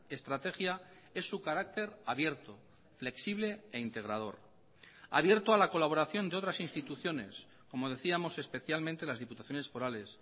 estrategia es su carácter abierto flexible e integrador abierto a la colaboración de otras instituciones como decíamos especialmente las diputaciones forales